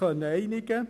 – Also: einpacken!